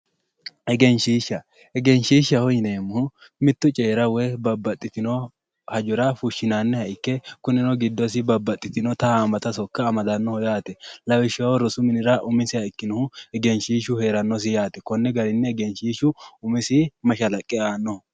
Egenshishsha ,egenshishshaho yineemmohu mitu coyira woyi babbaxitino hajora fushinanniha ikke kunino giddosi babbaxitinotta hamata sokka amadanoho yaate lawishshaho rosu minira umisiha ikkinohu egenshishshu heeranosi yaate konni garinni egenshishshu mashalaqqe aanno.